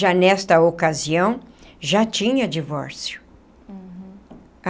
Já nesta ocasião, já tinha divórcio.